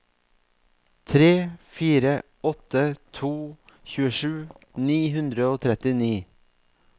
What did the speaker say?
tre fire åtte to tjuesju ni hundre og trettini